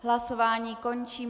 Hlasování končím.